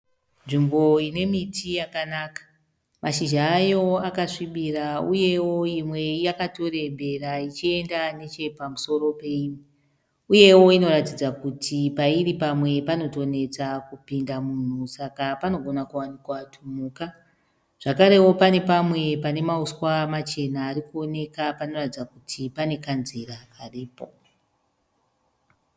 Nzvimbo ine miti yakanaka. Mashizha ayo akasvibira, uyewo imwe yakatorembera ichiyenda neche pamusoro peimwe. Uyewo inoratidza kuti pairi pamwe panotonetsa kupinda munhu, saka panogona kuwanikwa tumhuka. Zvakarewo pane pamwe pane mauswa machena arikuoneka panoratidza kuti pane kanzira karipo.